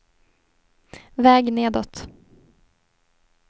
väg nedåt